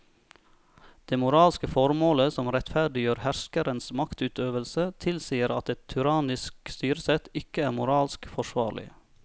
Det moralske formålet som rettferdiggjør herskerens maktutøvelse tilsier at et tyrannisk styresett ikke er moralsk forsvarlig.